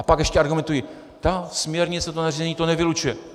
A pak ještě argumentují: ta směrnice, to nařízení to nevylučuje.